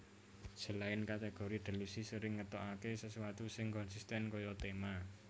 Selain kategori Delusi sering ngetokake sesuatu sing konsisten kaya tema